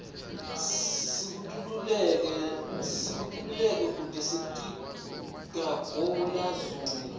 sikitululeke kute sitiga guli zula